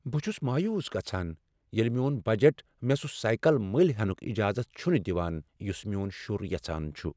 بہٕ چُھس مایوس گژھان ییٚلہ میون بجٹ مےٚ سُہ سایکل مٔلۍ ہینُك اجازت چُھنہٕ دوان یُس میون شُر یژھان چُھ ۔